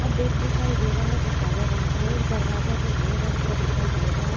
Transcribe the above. अब बैग दिखाई दे रहा है जो काले रंग का है एक दरवाजा जो भूरा रंग का दिखाई दे रहा है।